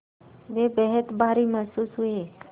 वे बेहद भारी महसूस हुए